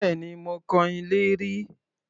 Bẹ́ẹ̀ni, mo kan ilé rí